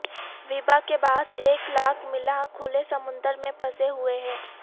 وبا کے باعث ایک لاکھ ملاح کھلے سمندر میں پھنسے ہوئے ہیں